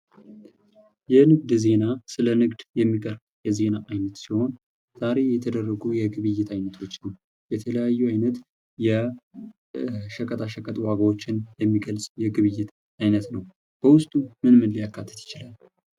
የንግድ ዜና ስለንግድ የሚቅርብ የዜና አይነት ሲሆን። ዛሬ የተደረጉ የግብይት አይነቶች የተለያዩ አይነት የሸቀጣሸቀጥ ዋጋዎችን የሚገልጽ የግብይት አይነት ነው። በውስጡ ምን ምን ሊያካተት ይችላል።